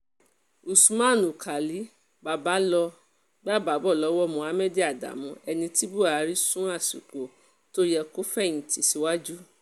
usman alkálì bàbá ló gbapò lọ́wọ́ mohammed adamu ẹni tí buhari sún àsìkò tó yẹ kó fẹ̀yìntì síwájú